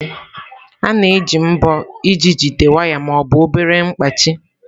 A na-eji mbọ iji jide waya ma ọ bụ obere mkpachị.